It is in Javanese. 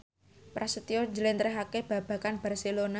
Prasetyo njlentrehake babagan Barcelona